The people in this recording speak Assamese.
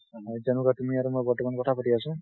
যেনেকুৱা তুমি আৰু মই বৰ্তমান কথা পাতি আছো।